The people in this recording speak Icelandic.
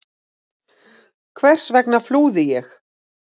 Hvers vegna flúði ég?